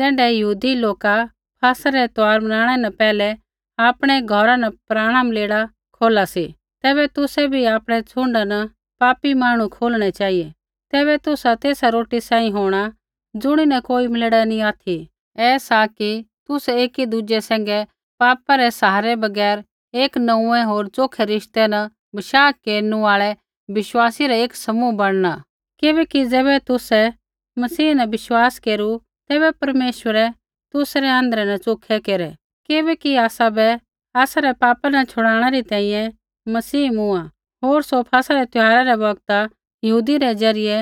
ज़ैण्ढै यहूदी लोका फसह रै त्यौहार बनाणै न पैहलै आपणै घौरा न पराणा मलेड़ा बै खोला सी तैबै तुसै बै आपणै छ़ुण्डा न पापी मांहणु खोलणा चेहिऐ तैबै तुसा तेसा रोटी सांही होंणा ज़ुणिन कोई मलेड़ा नैंई ऑथि ऐ सा कि तुसै एकी दुज़ै सैंघै पापा रै असरा बगैर एक नोंऊँऐं होर च़ोखै रिश्ते न बशाह केरनु आल़ै विश्वासी रा एक समूह बणना किबैकि ज़ैबै तुसै मसीह न बशाह केरू तैबै परमेश्वरै तुसै आँध्रै न च़ोखै केरै किबैकि आसाबै आसरै पापा न छ़ुड़ाणै री तैंईंयैं मसीह मूँआ होर सौ फसह रै त्यौहारा रै बौगता यहूदी रै ज़रियै